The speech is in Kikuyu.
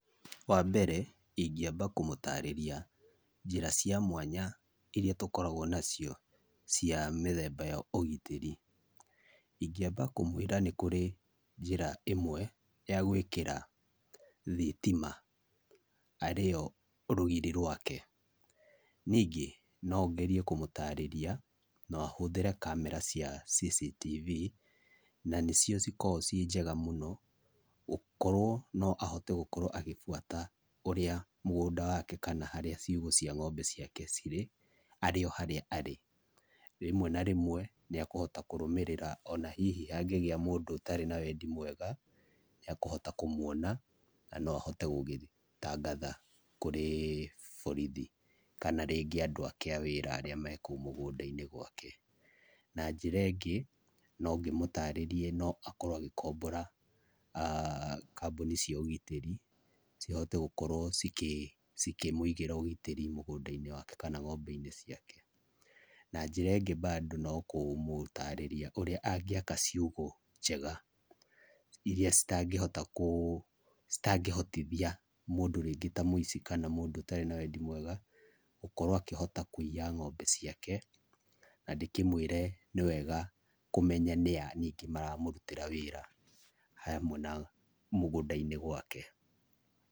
Wambere ingĩamba kũmũtarĩria njĩra cia mwanya iria tũkoragwo nacio cia mĩthemba ya ũgitĩri. Ingĩamba kũmwĩra nĩkũrĩ njĩra imwe ya gwĩkĩra thitima arĩo rũgiri rwake. Ningĩ nongerie kũmũtarĩria noahũthĩre kamera cia CCTV na nĩcio cikoo cinjega mũno gũkorwo noahote gũkorwo agĩbuata ũrĩa mũgũnda wake kana harĩa cĩugũ cia ng'ombe ciake cirĩ arĩ ohorĩa arĩ. Rĩmwe na rĩmwe nĩekũhota kũrũmĩrĩra onahihi hangĩgia mũndũ ũtarĩ na wendĩ mwega nĩekũhota kũmwona nanoahote gũgĩthitangatha kũrĩ borithi kana rĩngĩ andũ ake awĩra arĩa mekũu mũgũnda-inĩ gwake. Na njĩra ĩngĩ nongĩmũtarĩrie noakorwo agĩkombora kambuni cia ũgitĩri cihote gũkorwo cikĩ cikĩnwigĩra ũgitĩri mũgũnda-inĩ wake kana ng'ombe-inĩ ciake. Na njĩra ĩngĩ mbandu nokũmũtarĩria ũrĩa angĩaka ciugũ njega iria citangĩhota kuu citangĩhotithia mũndũ rĩngĩ ta mũici kana mũndũ ũtarĩ na wendi mwega gũkorwa akĩhota kuiya ng'ombe ciake na ndĩkĩmwĩre nĩwega kũmenya nĩa maramũrũtĩra wĩra hamwe na mũgũnda-inĩ gwake.